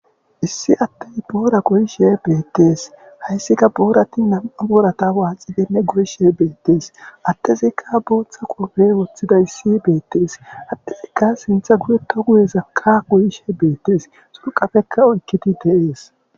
issi addey boora goyishe beettees hayssika boorati nam7a boorata waacidenne goyshe beettees attezikka booththa qofey woththida issi beettees attezikka sintha guyeto guyezakka goyishe beettes xurqafekka oykkidi deees